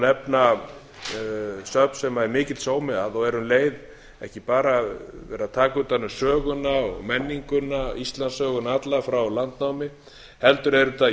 má nefna söfn sem er mikill sómi að og er um leið ekki bara verið að taka utan um söguna og menninguna íslandssöguna alla frá landnámi heldur eru þetta